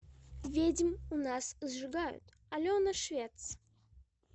ведьм у нас сжигают алена швец